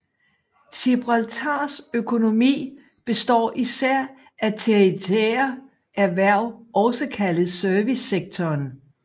Gibraltars økonomi består især af tertiære erhverv også kaldet servicesektoren